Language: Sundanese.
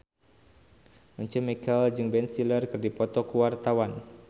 Once Mekel jeung Ben Stiller keur dipoto ku wartawan